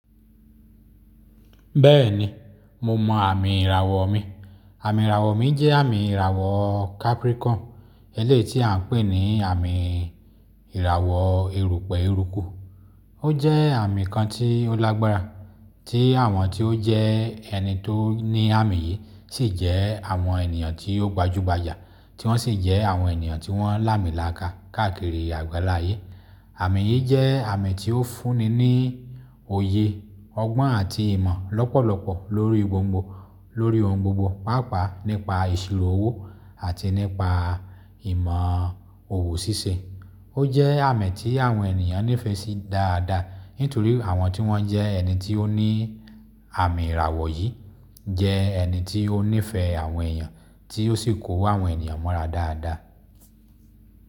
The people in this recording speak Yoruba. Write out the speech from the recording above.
Bẹ́ẹ̀ni, mo mọ àmì ìràwọ̀ mi. Àmì ìràwọ̀ mi jẹ́ àmì ìràwọ̀ Capricorn, eléyìí tí à n pè ní àmì ìràwọ̀ erùpẹ̀ èrùko. Ó jẹ́ àmì kan tí ó lágbára tí àwọn tí ó jẹ́ ẹni tó ní àmì yìí sì jẹ́ àwọn ènìyàn tí ó gbajúgbajà, tí wọ́n sì jẹ́ àwọn ènìyàn tí wọ́n lamilaka káàkiri àgbàlá ayé. Àmì yìí jẹ́ àmì tí ó fúnni ní òye, ọgbọ́n àti ìmọ̀ lọ́pọ̀lọpọ̀ lórí ohun gbogbo, pàápàá nípa ìṣirò owó àti nípa ìmọ̀ òwò ṣíṣe. Ó jẹ́ àmì tí àwọn ènìyàn nífẹ̀ẹ́ sí dáadáa nítorí àwọn tí wọ́n jẹ́ ẹni tí ó ní àmì ìràwọ̀ yìí jẹ́ ẹni tí ó nífẹ̀ẹ́ àwọn èèyàn tí ó sì kó àwọn ènìyàn mọ́ra dáadáa.